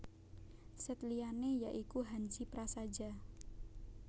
Sèt liyané ya iku Hanzi prasaja